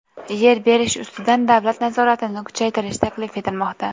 Yer berish ustidan davlat nazoratini kuchaytirish taklif etilmoqda.